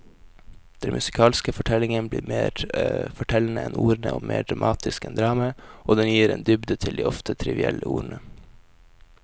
Den musikalske fortellingen blir mer fortellende enn ordene og mer dramatisk enn dramaet, og den gir en dybde til de ofte trivielle ordene.